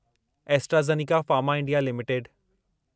AstraZeneca pharma India limited